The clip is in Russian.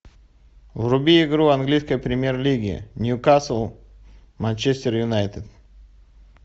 вруби игру английской премьер лиги ньюкасл манчестер юнайтед